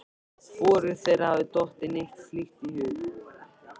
Hvorugu þeirra hafði dottið neitt slíkt í hug.